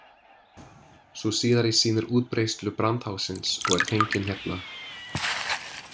Sú síðari sýnir útbreiðslu brandháfsins og er fengin hérna.